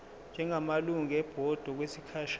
njengamalungu ebhodi okwesikhashana